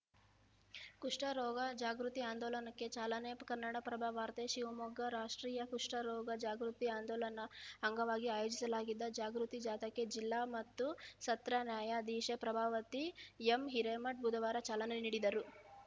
ಕುಷ್ಠರೋಗ ಜಾಗೃತಿ ಆಂದೋಲನಕ್ಕೆ ಚಾಲನೆ ಕನ್ನಡಪ್ರಭ ವಾರ್ತೆ ಶಿವಮೊಗ್ಗ ರಾಷ್ಟ್ರೀಯ ಕುಷಠರೋಗ ಜಾಗೃತಿ ಆಂದೋಲಅಂಗವಾಗಿ ಆಯೋಜಿಸಲಾಗಿದ್ದ ಜಾಗೃತಿ ಜಾಥಾಕ್ಕೆ ಜಿಲ್ಲಾ ಮತ್ತು ಸತ್ರ ನ್ಯಾಯಾಧೀಶೆ ಪ್ರಭಾವತಿ ಎಂ ಹಿರೇಮಠ್‌ ಬುಧವಾರ ಚಾಲನೆ ನೀಡಿದರು